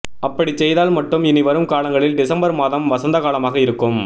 அப்படிச் செய்தால் மட்டும் இனி வரும் காலங்களில் டிசம்பர் மாதம் வசந்தகாலமாக இருக்கும்